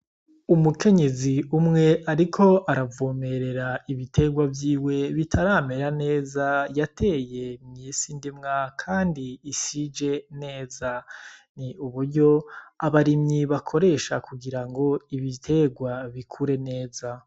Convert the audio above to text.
Umukenyezi umwe, ariko aravomerera ibiterwa vyiwe bitaramera neza yateye myisi indimwa, kandi isije neza ni uburyo abarimyi bakoresha kugira ngo ibiterwa bikure neza.